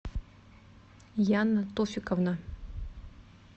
яна тофиковна